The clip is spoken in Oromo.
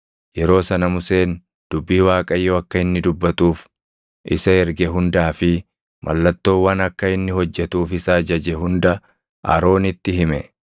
Yeroo sana Museen dubbii Waaqayyo akka inni dubbatuuf isa erge hundaa fi mallattoowwan akka inni hojjetuuf isa ajaje hunda Aroonitti hime.